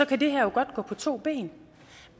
kan det her jo godt gå på to ben